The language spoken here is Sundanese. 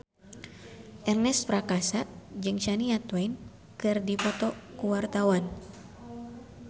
Ernest Prakasa jeung Shania Twain keur dipoto ku wartawan